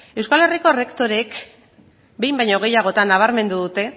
euskal herriko errektoreek behin baino gehiagotan nabarmendu dute